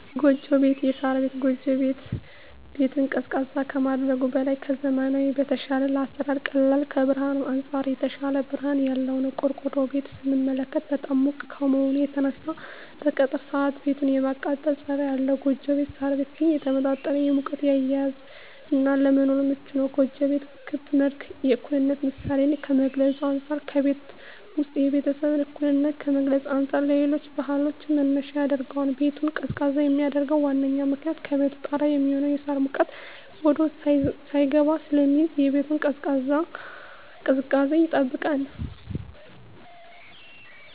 ጎጆ ቤት(ሳር ቤት)። ጎጆ ቤት ቤትን ቀዝቃዛ ከማድረጉም በላይ ከዘመናዊዉ በተሻለ ለአሰራር ቀላል ከብርሀንም አንፃር የተሻለ ብርሀን ያለዉ ነዉ። ቆርቆሮ ቤትን ስንመለከት በጣም ሙቅ ከመሆኑ የተነሳ በቀትር ሰአት ቤቱ የማቃጠል ፀባይ አለዉ ጎጆ ቤት (ሳር ቤት) ግን የተመጣጠነ ሙቀትን የያዘ እና ለመኖርም ምቹ ነዉ። ጎጆ ቤት ክብ ምልክት የእኩልነት ምሳሌን ከመግልፁ አንፃ ከቤቱ ዉስጥ የቤተሰቡን እኩልነት ከመግለፅ አንፃር ለሌሎች ባህሎችም መነሻ ያደርገዋል። ቤቱን ቀዝቃዛ የሚያደርገዉ ዋነኛዉ ምክንያት ከቤቱ ጣሪያ የሚሆነዉ የሳር ሙቀት ወደዉስጥ ሳይስገባ ስለሚይዝ የቤቱን ቅዝቃዜ ይጠብቃል።